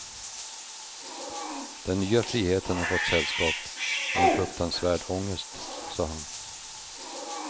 Den nya friheten har fått sällskap med en fruktansvärd ångest, sa han.